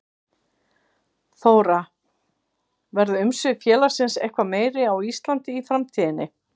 Þóra: Verða umsvif félagsins eitthvað meiri á Íslandi í framtíðinni?